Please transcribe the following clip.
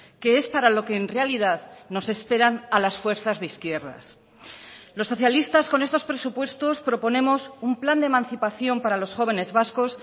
que es para lo que en realidad nos esperan a las fuerzas de izquierdas los socialistas con estos presupuestos proponemos un plan de emancipación para los jóvenes vascos